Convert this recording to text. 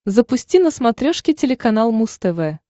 запусти на смотрешке телеканал муз тв